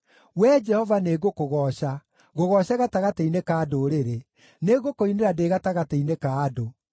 Wee Jehova nĩngũkũgooca, ngũgooce gatagatĩ-inĩ ka ndũrĩrĩ; nĩngũkũinĩra ndĩ gatagatĩ-inĩ ka andũ.